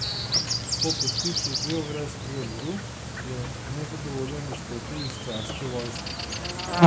Po podpisu beograjskega miru je nezadovoljen izstopil iz carske vojske.